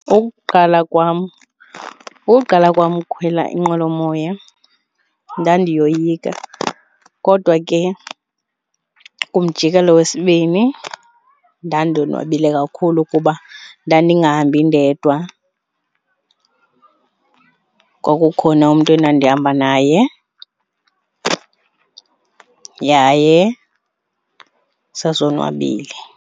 Ukuqala kwam, uqala kwam ukukhwela inqwelomoya ndandiyoyika. Kodwa ke kumjikelo wesibini ndandonwabile kakhulu kuba ndandingahambi ndedwa kwakukhona umntu endandihamba naye yaye sasonwabile.